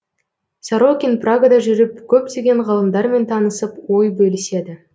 сорокин прагада жүріп көптеген ғалымдармен танысып ой бөліседі